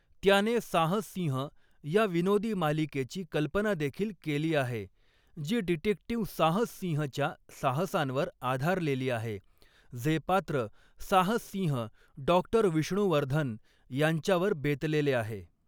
त्याने 'साहस सिंह' या विनोदी मालिकेची कल्पनादेखील केली आहे, जी डिटेक्टिव 'साहस सिंह'च्या साहसांवर आधारलेली आहे, जे पात्र 'साहस सिंह डॉ. विष्णुवर्धन' यांच्यावर बेतलेले आहे.